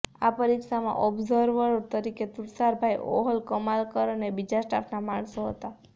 આ પરીક્ષામાં ઓબ્ઝર્વર તરીકે તુષારભાઈ ઓહલ કમલાકર અને બીજા સ્ટાફના માણસો હતા